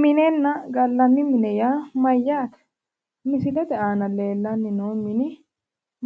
Minenna gallanni mine yaa mayyaate? Misilete aana leellanni noo mini